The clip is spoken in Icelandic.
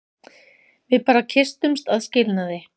Við bara kysstumst að skilnaði.